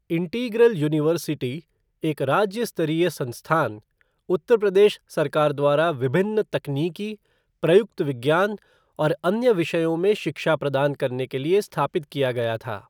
Integral university, एक राज्य स्तरीय संस्थान, उत्तर प्रदेश सरकार द्वारा विभिन्न तकनीकी, प्रयुक्त विज्ञान और अन्य विषयों में शिक्षा प्रदान करने के लिए स्थापित किया गया था।